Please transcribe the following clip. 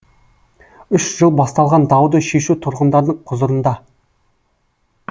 үш жыл басталған дауды шешу тұрғындардың құзырында